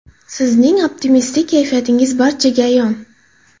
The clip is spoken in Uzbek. Sizning optimistik kayfiyatingiz barchaga ayon.